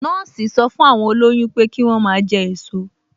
Nọ́ọ̀sì sọ fún àwọn olóyún pé kí wọ́n máa jẹ èso